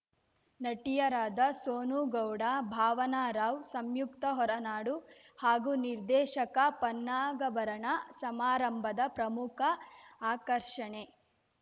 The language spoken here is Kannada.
ನಟಿಯರಾದ ಸೋನು ಗೌಡ ಭಾವನಾ ರಾವ್‌ ಸಂಯುಕ್ತ ಹೊರನಾಡು ಹಾಗೂ ನಿರ್ದೇಶಕ ಪನ್ನಗಾಭರಣ ಸಮಾರಂಭದ ಪ್ರಮುಖ ಆಕರ್ಷಣೆ